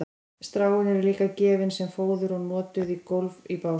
stráin eru líka gefin sem fóður og notuð á gólf í básum